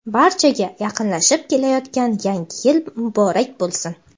Barchaga yaqinlashib kelayotgan Yangi yil muborak bo‘lsin!.